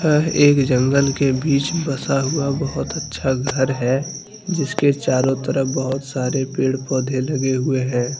यह एक जंगल के बीच बसा हुआ बहुत अच्छा घर है जिसके चारों तरफ बहुत सारे पेड़-पौधे लगे हुए हैं।